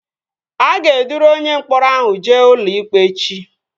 A ga-eduru onye mkpọrọ ahụ jee ụlọikpe echi